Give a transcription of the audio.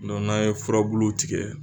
n'a ye furabulu tigɛ.